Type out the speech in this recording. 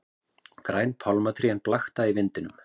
Græn pálmatrén blakta í vindinum.